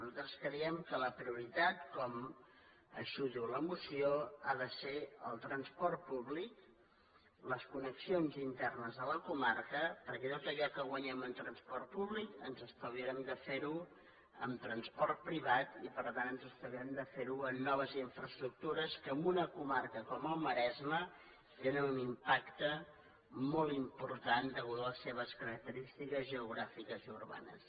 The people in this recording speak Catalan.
nosaltres creiem que la prioritat com diu la moció ha de ser el transport públic les connexions internes de la comarca perquè tot allò que guanyem en transport públic ens estalviarem de fer ho en transport privat i per tant ens estalviarem de fer ho en noves infraestructures que en una comarca com el maresme tenen un impacte molt important a causa de les seves característiques geogràfiques i urbanes